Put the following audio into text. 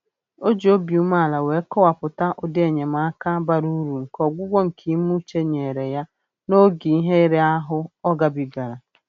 O ji obi umeala wee kọwapụta ụdị enyemaka bara uru nke ọgwụgwọ nke ime uche nyere ya n'oge ihe ira ahụ ọ gabigara